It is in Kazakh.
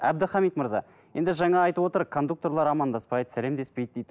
әбдіхамит мырза енді жаңа айтып отыр кондукторлар амандаспайды сәлемдеспейді дейді